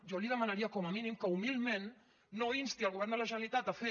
jo li demanaria com a mínim que humilment no insti el govern de la generalitat a fer